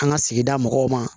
An ka sigida mɔgɔw ma